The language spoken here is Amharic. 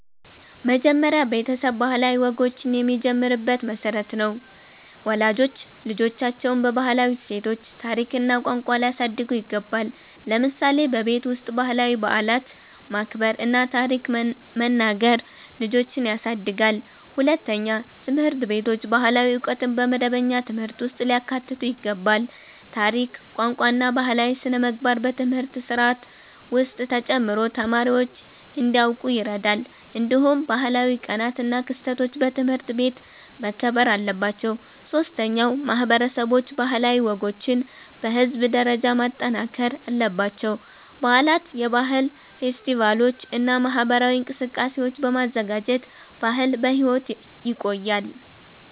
መጀመሪያ ቤተሰብ ባህላዊ ወጎችን የሚጀምርበት መሠረት ነው። ወላጆች ልጆቻቸውን በባህላዊ እሴቶች፣ ታሪክ እና ቋንቋ ሊያሳድጉ ይገባል። ለምሳሌ በቤት ውስጥ ባህላዊ በዓላትን ማክበር እና ታሪክ መናገር ልጆችን ያሳድጋል። ሁለተኛ፣ ትምህርት ቤቶች ባህላዊ ዕውቀትን በመደበኛ ትምህርት ውስጥ ሊያካትቱ ይገባል። ታሪክ፣ ቋንቋ እና ባህላዊ ሥነ-ምግባር በትምህርት ስርዓት ውስጥ ተጨምሮ ተማሪዎች እንዲያውቁ ይረዳል። እንዲሁም ባህላዊ ቀናት እና ክስተቶች በትምህርት ቤት መከበር አለባቸው። ሶስተኛ፣ ማህበረሰቦች ባህላዊ ወጎችን በህዝብ ደረጃ ማጠናከር አለባቸው። በዓላት፣ የባህል ፌስቲቫሎች እና ማህበራዊ እንቅስቃሴዎች በማዘጋጀት ባህል በሕይወት ይቆያል።